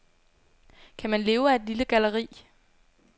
Kan man leve af et lille galleri?